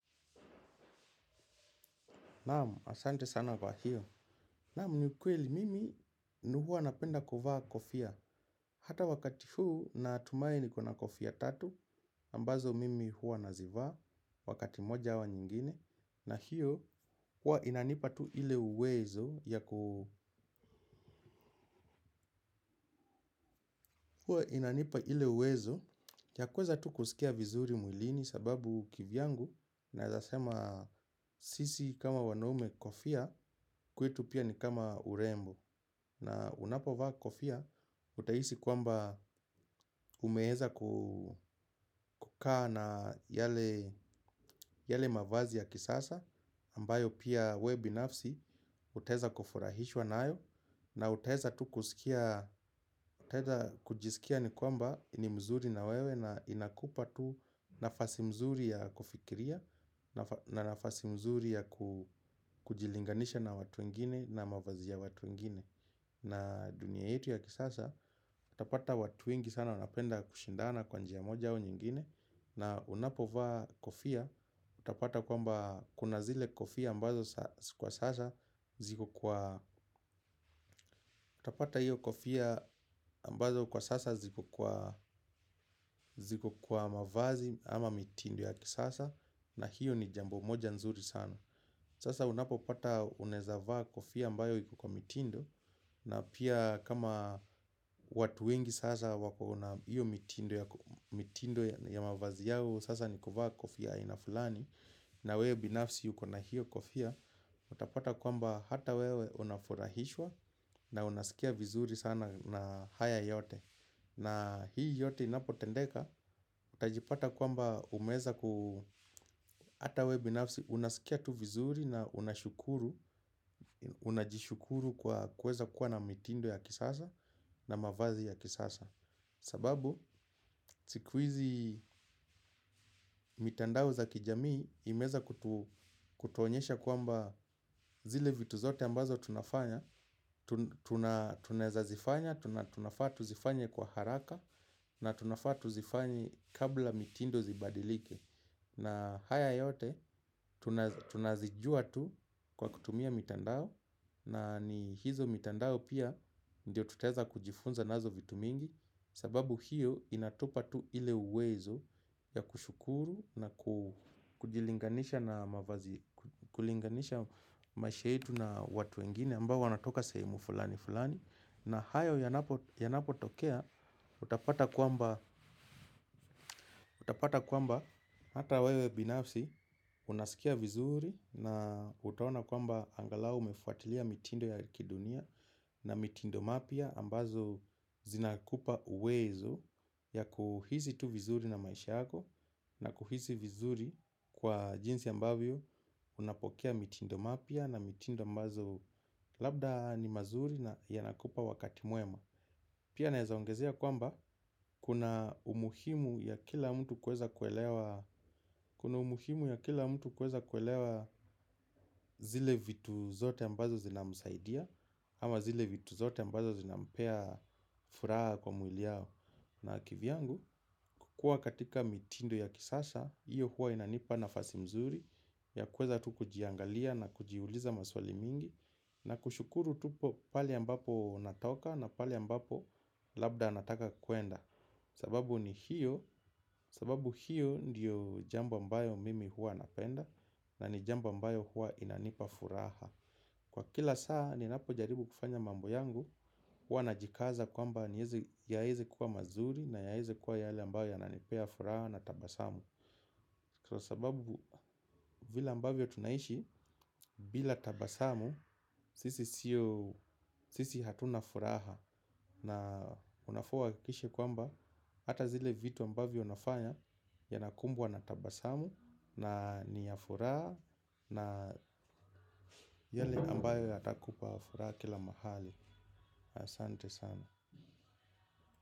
Naam, asante sana kwa hio. Naam, ni ukweli, mimi huwa napenda kuvaa kofia. Hata wakati huu, natumai niko na kofia tatu. Ambazo mimi huwa nazivaa. Wakati moja au nyingine. Na hio, huwa inanipa tu ile uwezo. Huwa inanipa ile uwezo. Ya kuweza tu kusikia vizuri mwilini. Sababu kivyangu, nawezasema sisi kama wanaume kofia. Kwetu pia ni kama urembo. Na unapo vaa kofia, utahisi kwamba umeweza kukaa na yale mavazi ya kisasa ambayo pia wewe binafsi utaweza kufurahishwa nayo. Na utaweza tu kusikia ni kwamba ni mzuri na wewe na inakupa tu nafasi mzuri ya kufikiria. Na nafasi nzuri ya kujilinganisha na watu wengine na mavazi ya watu wengine. Na dunia yetu ya kisasa, utapata watu wengi sana wanapenda kushindana kwa njia moja au nyingine. Na unapo vaa kofia, utapata kwamba kunazile kofia utapata hio kofia ambazo kwa sasa ziko kwa mavazi ama mitindo ya kisasa. Na hio ni jambo moja nzuri sana. Sasa unapo pata unaweza vaa kofia ambayo iko kwa mitindo na pia kama watu wengi sasa wako na hio mitindo ya mavazi yao sasa nikuvaa kofia ya aina fulani, na wewe binafsi uko na hio kofia. Utapata kwamba hata wewe unafurahishwa na unasikia vizuri sana na haya yote. Na hii yote inapotendeka, utajipata kwamba umeweza ata wewe binafsi unaskia tu vizuri na unashukuru, unajishukuru kwa kuweza kuwa na mitindo ya kisasa na mavazi ya kisasa. Sababu, siku hizi mitandao za kijamii imeweza kutuonyesha kwamba zile vitu zote ambazo tunafanya. Tunaweza zifanya, tunafaa tuzifanye kwa haraka na tunafaa tuzifanye kabla mitindo zibadilike. Na haya yote, tunazijua tu kwa kutumia mitandao. Na ni hizo mitandao pia ndio tutaweza kujifunza nazo vitu mingi sababu hio inatupa tu ile uwezo ya kushukuru na kujilinganisha maisha yetu na watu wengine ambao wanatoka sehemu fulani fulani, na hayo yanapo tokea utapata kwamba hata wewe binafsi unasikia vizuri na utaona kwamba angalau umefwatilia mitindo yakidunia. Na mitindo mapya ambazo zinakupa uwezo ya kuhisi tu vizuri na maisha yako. Na kuhisi vizuri kwa jinsi ambavyo unapokea mitindo mapya na mitindo ambazo labda ni mazuri na yanakupa wakati mwema. Pia naweza ongezea kwamba kuna umuhimu ya kila mtu kuweza kuelewa zile vitu zote ambazo zinamsaidia. Ama zile vitu zote ambazo zinampea furaha kwa mwili yao. Na kivyangu, kukuwa katika mitindo ya kisasha hio huwa inanipa nafasi mzuri ya kuweza tu kujiangalia na kujiuliza maswali mingi. Na kushukuru tu pale ambapo natoka na pale ambapo labda nataka kwenda. Sababu ni hio, sababu hio ndio jambo ambayo mimi huwa napenda. Na ni jambo ambayo huwa inanipa furaha. Kwa kila saa ninapo jaribu kufanya mambo yangu, huwa najikaza kwamba yaweze kuwa mazuri na yaweze kuwa yale ambayo yananipea furaha na tabasamu. Kwa sababu vile ambavyo tunaishi bila tabasamu sisi hatuna furaha. Na unafaa uhakikishe kwamba hata zile vitu ambavyo unafanya yanakumbwa na tabasamu. Na ni ya furaha, na yale ambayo yatakupa furaha kila mahali. Asante sana.